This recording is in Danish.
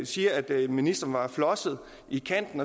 siger at ministeren var flosset i kanten